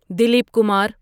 Dilip Kumar